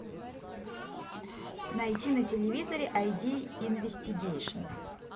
найти на телевизоре ай ди инвестигейшн